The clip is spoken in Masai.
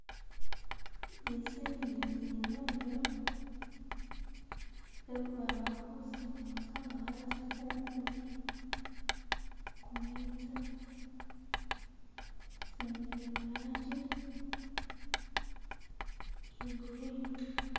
Nzisenene zinyonjo zesibamakhusinga busa ngabazifumule kumeza, inzindi zili'mulanji I ya'green